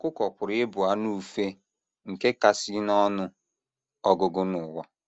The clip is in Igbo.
ỌKỤKỌ pụrụ ịbụ anụ ufe nke kasị n’ọnụ ọgụgụ n’ụwa.